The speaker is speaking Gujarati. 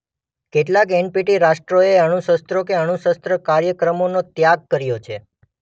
કેટલાંક એનપીટી રાષ્ટ્રોએ અણુશસ્ત્રો કે અણુશસ્ત્ર કાર્યક્રમોનો ત્યાગ કર્યો છે.